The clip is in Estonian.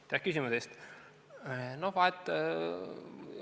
Aitäh küsimuse eest!